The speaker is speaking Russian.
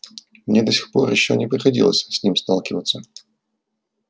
мне до сих пор ещё не приходилось с ним сталкиваться